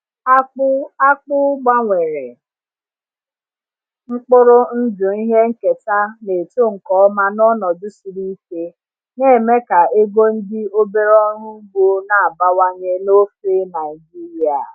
Akpụ Akpụ gbanwere mkpụrụ ndụ ihe nketa na-eto nke ọma n’ọnọdụ siri ike, na-eme ka ego ndị obere ọrụ ugbo na-abawanye n’ofe Naijiria.